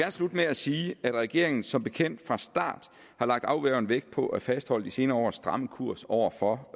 slutte med at sige at regeringen som bekendt fra start har lagt afgørende vægt på at fastholde de senere års stramme kurs over for